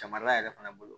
Camara yɛrɛ fana bolo